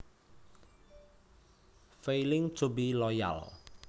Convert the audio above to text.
Failing to be loyal